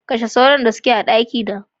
Kashe sauron da suke a dakina.